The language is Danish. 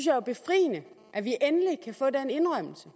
jo er befriende at vi endelig kan få den indrømmelse